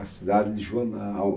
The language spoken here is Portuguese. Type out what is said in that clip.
A cidade de Joana